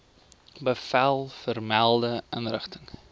bevel vermelde inrigting